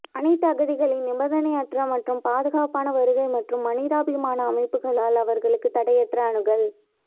அனைத்து அகதிகளின் நிபந்தனையற்ற மற்றும் பாதுகாப்பான வருகை மற்றும் மனிதாபிமான அமைப்புகளால் அவர்களுக்கு தடையற்ற அணுகல்